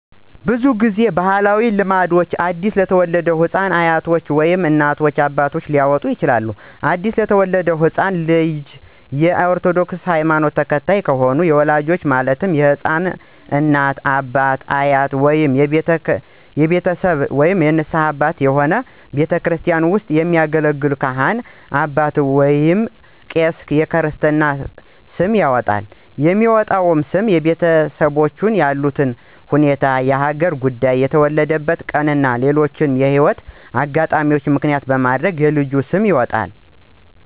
ብዙ ጊዜ በባህላዊ ልምድ አዲስ ለተወለደ ህፃን አያቶች ወይም እናት፣ አባት ሊያወጣ ይችላል። አዲስ የተወለደው ህፃን ልጅ የ ኦርቶዶክስ ሀይማኖት ተከታይ ከሆነም የወላጆቹ ማለትም የህፃኑ እናት፣ አባት፣ አያቶች ወይንም የቤተሰብ ንስሀ አባት የሆኑ ቤተክርስቲያን ውስጥ የሚያገለግል ካህን አባት ወይንም ቄስ የክርስትና ስም ያወጣል። የሚወጣውም ስም የቤተሰቦቹን ያሉበት ሁኔታ፣ የሀገር ጉዳይ፣ የተወለደበትን ቀን እና ሌሎችንም የህይወት አጋጣሚዎች ምክንያት በማድረግ የልጅ ስም ይወጣል።